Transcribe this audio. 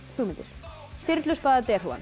hugmyndir